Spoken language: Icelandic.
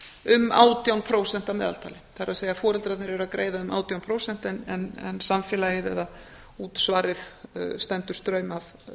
um átján prósent að meðaltali það er foreldrarnir eru að greiða um átján prósent en samfélagið eða útsvarið stendur straum af